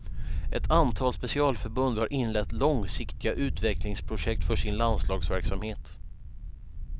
Ett antal specialförbund har inlett långsiktiga utvecklingsprojekt för sin landslagsverksamhet.